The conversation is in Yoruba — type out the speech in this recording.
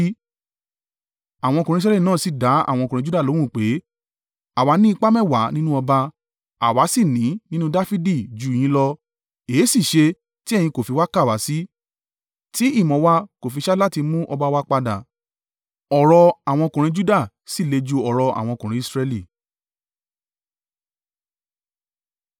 Àwọn ọkùnrin Israẹli náà sì dá àwọn ọkùnrin Juda lóhùn pé, “Àwa ní ipá mẹ́wàá nínú ọba, àwa sì ní nínú Dafidi jù yín lọ, èéṣì ṣe tí ẹ̀yin kò fi kà wá sí, tí ìmọ̀ wa kò fi ṣáájú láti mú ọba wa padà?” Ọ̀rọ̀ àwọn ọkùnrin Juda sì le ju ọ̀rọ̀ àwọn ọkùnrin Israẹli.